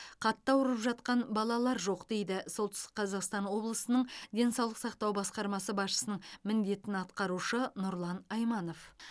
қатты ауырып жатқан балалар жоқ дейді солтүстік қазақстан облысының денсаулық сақтау басқармасы басшысының міндетін атқарушы нұрлан айманов